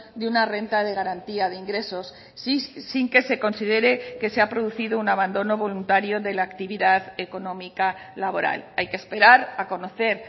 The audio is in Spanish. de una renta de garantía de ingresos sin que se considere que se ha producido un abandono voluntario de la actividad económica laboral hay que esperar a conocer